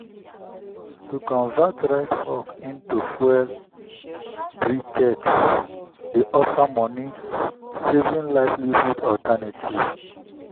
to convert rice husk into fuel briquettes dey offer money-saving livelihood alternative.